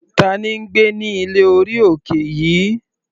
Tina ń gbé ní ilé orí òkè yìí.